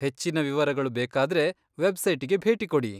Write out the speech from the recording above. ಹೆಚ್ಚಿನ ವಿವರಗಳು ಬೇಕಾದ್ರೆ ವೆಬ್ಸೈಟಿಗೆ ಭೇಟಿ ಕೊಡಿ.